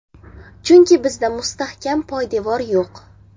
Chunki bizda mustahkam poydevor yo‘q.